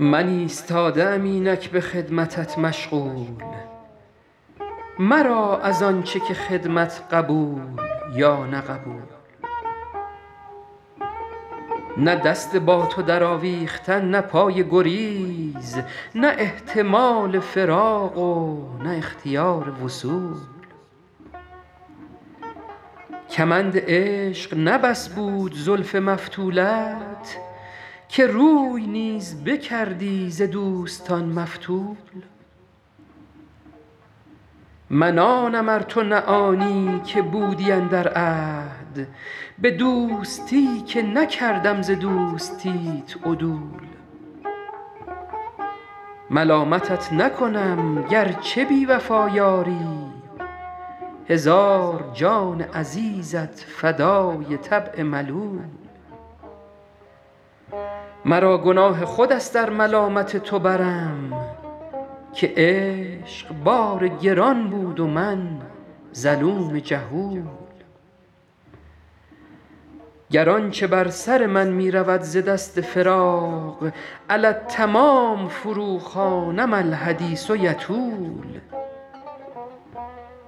من ایستاده ام اینک به خدمتت مشغول مرا از آن چه که خدمت قبول یا نه قبول نه دست با تو درآویختن نه پای گریز نه احتمال فراق و نه اختیار وصول کمند عشق نه بس بود زلف مفتولت که روی نیز بکردی ز دوستان مفتول من آنم ار تو نه آنی که بودی اندر عهد به دوستی که نکردم ز دوستیت عدول ملامتت نکنم گر چه بی وفا یاری هزار جان عزیزت فدای طبع ملول مرا گناه خود است ار ملامت تو برم که عشق بار گران بود و من ظلوم جهول گر آن چه بر سر من می رود ز دست فراق علی التمام فروخوانم الحدیث یطول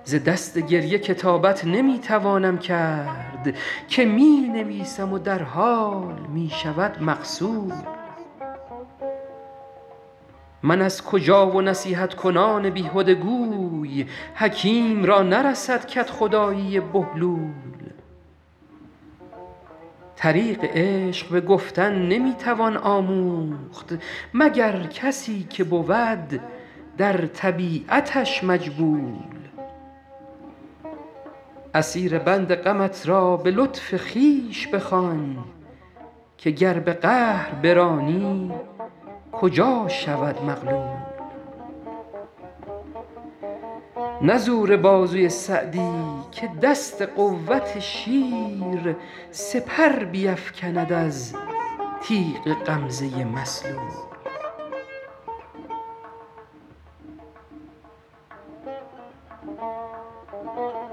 ز دست گریه کتابت نمی توانم کرد که می نویسم و در حال می شود مغسول من از کجا و نصیحت کنان بیهده گوی حکیم را نرسد کدخدایی بهلول طریق عشق به گفتن نمی توان آموخت مگر کسی که بود در طبیعتش مجبول اسیر بند غمت را به لطف خویش بخوان که گر به قهر برانی کجا شود مغلول نه زور بازوی سعدی که دست قوت شیر سپر بیفکند از تیغ غمزه مسلول